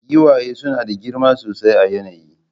Giwaye suna da girma sosai a yanayi